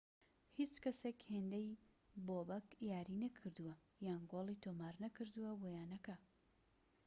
هیچ کەسێك هێندەی بۆبەك یاری نەکردووە یان گۆڵی تۆمار نەکردووە بۆ یانەکە